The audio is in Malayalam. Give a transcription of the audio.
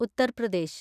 ഉത്തർ പ്രദേശ്